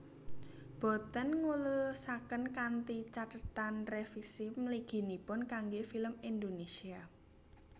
Boten nglulusaken kanthi cathetan revisi mliginipun kangge film Indonesia